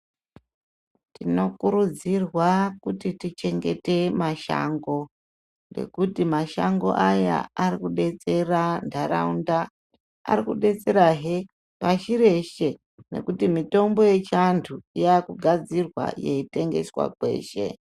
Tinokurudzirwa kuti tichengete mashango ngekuti mashango aya arikudetsera nharaunda, arikudetserahee pashi reshe nekuti mitombo yechiantu yakugadzirwa yeitengeswa kweshe.